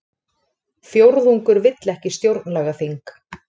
Fjórðungur vill ekki stjórnlagaþing